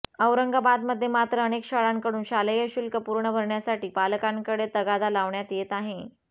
औरंगाबाद मध्ये मात्र अनेक शाळांकडून शालेय शुल्क पूर्ण भरण्यासाठी पालकांकडे तगादा लावण्यात येत आहे